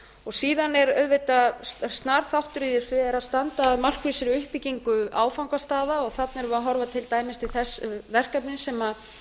og síðan er auðvitað snar þáttur í þessu er að standa að markvissri uppbyggingu áfangastaða þarna erum við að horfa til dæmis til þess verkefnis sem